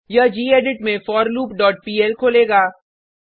यह गेडिट में forloopपीएल खोलेगा